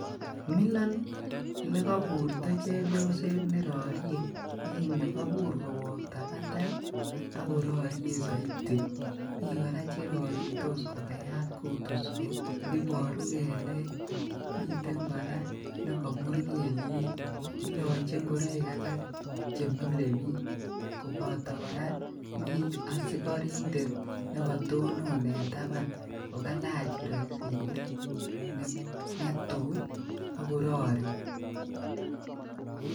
Milon elekoburto chebioset nerorie en yuu, kobur kowokta batai akororie soiti, mii kora cheroritos kokayat kutuswek, iboruu keleek, miten kora nekomur keliek, iloche ing'oroik alak chemile biik, koboto kora mii osikorintet nekotonon en taban kokalach iroisit netuii akorori.